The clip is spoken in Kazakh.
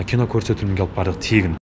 кино көрсетілімге алып бардық тегін